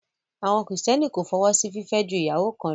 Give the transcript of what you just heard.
Àwọn kìrìtẹ́nì kò fọwọ́ sí fìfẹ́ ju ìyàwó kan lọ